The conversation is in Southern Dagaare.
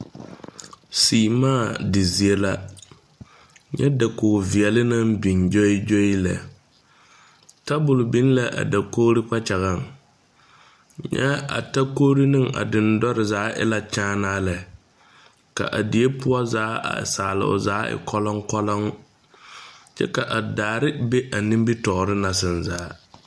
Sèèmaa di zie la nyɛ dakog veɛle naŋ biŋ gyoi gyoi lɛ tabol biŋ la a dakogro kpakyagaŋ nyɛ a takorre ne a deŋdore zaa e la kyaanaa lɛ ka a die poɔ zaa a salle o zaa e kɔlɔŋkɔlɔŋ lɛ kyɛ ka a daare be a nimitoore na zaa.